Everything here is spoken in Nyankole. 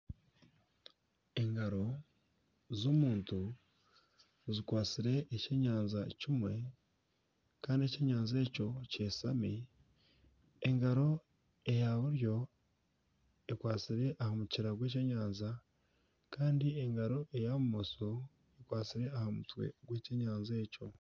Engaro z'omuntu zikwatsire ekyenyanja kimwe kandi ekyenyanja ekyo kyeshami, engaro eya buryo ekwatsire aha mukira gw'ekyenyanja kandi engaro eya bumosho, ekwatsire aha mutwe gw'ekyenyanja ekyo